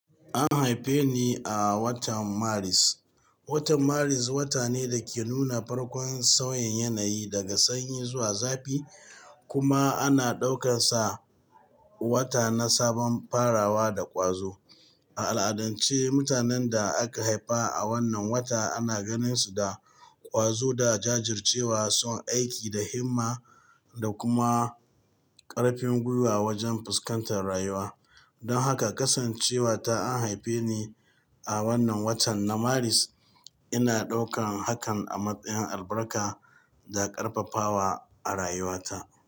An haife ni a watan Maris. Watan Maris wata ne da ke nuna farkon sauyin yanayi daga sanyi zuwa zafi, kuma ana ɗaukansa wata na sabon farawa da ƙwazo. A al'adance, mutanen da aka haifa a wannan wata ana ganinsu da ƙwazo da jajircewa, son aiki da himma da kuma ƙarfin gwiwa wajen fuskantar rayuwa. Don haka, kasancewa ta an haife ni a wannan watan na Maris, ina ɗaukan hakan a matsayin albarka da ƙarfafawa a rayuwata.